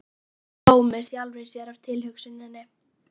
Hafsteinn Hauksson: Hafið þið leitað eftir einhverjum skýringum á þessu?